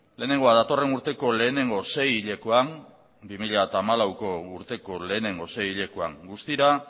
lehenengoa datorren urteko lehenengo seihilekoan guztira